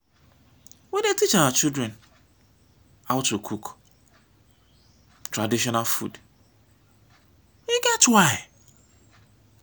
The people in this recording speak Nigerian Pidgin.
we dey teach our children how to cook traditional food e get why.